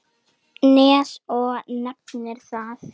Nes og nefnir það.